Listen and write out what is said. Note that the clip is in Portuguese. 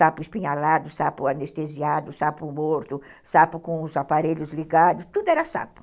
Sapo espinhalado, sapo anestesiado, sapo morto, sapo com os aparelhos ligados, tudo era sapo.